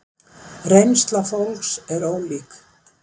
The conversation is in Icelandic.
Reynsla fólks er ólík.